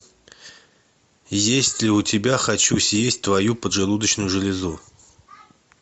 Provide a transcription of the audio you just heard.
есть ли у тебя хочу съесть твою поджелудочную железу